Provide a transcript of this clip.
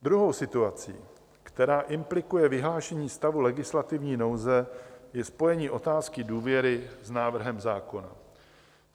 Druhou situací, která implikuje vyhlášení stavu legislativní nouze, je spojení otázky důvěry s návrhem zákona.